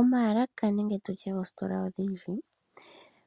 Omaalaka nenge tu tye oositola odhindji